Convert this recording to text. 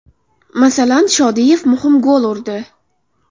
Masalan, Shodiyev muhim gol urdi.